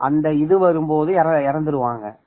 அந்த இது வரும்போது இறந்துடுவாங்க